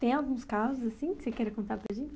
Tem alguns casos, assim, que você queria contar para a gente?